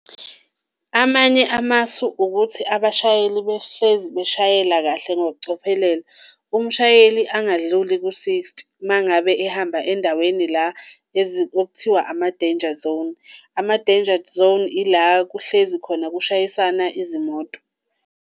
Amanye amasu ukuthi abashayeli behlezi beshayela kahle ngokucophelela, umshayeli angadluli ku-sixty uma ngabe ehamba endaweni la okuthiwa ama-danger zone. Ama-danger zone yila kuhlezi khona kushayisana izimoto.